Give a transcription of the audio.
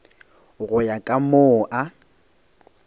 go ya ka moo a